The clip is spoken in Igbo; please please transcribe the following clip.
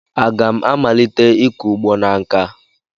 Aga m amalite ịkọ ugbo na nkà?